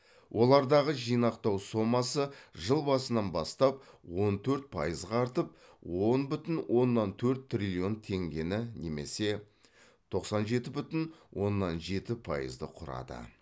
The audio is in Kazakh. олардағы жинақтау сомасы жыл басынан бастап он төрт пайызға артып он бүтін оннан төрт триллион теңгені немесе тоқсан жеті бүтін оннан жеті пайызды құрады